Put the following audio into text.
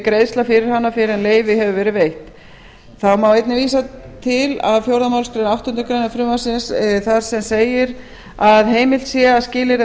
greiðsla fyrir hana fyrr en leyfi hefur verið veitt þá má einnig vísa til fjórðu málsgrein áttundu greinar frumvarpsins þar sem segir að heimilt sé að skilyrða